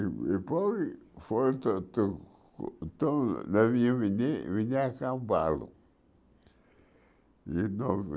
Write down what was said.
E depois foram to to to vim a cavalo.